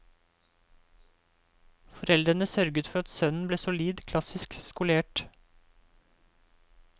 Foreldrene sørget for at sønnen ble solid klassisk skolert.